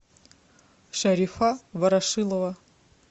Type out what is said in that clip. шарифа ворошилова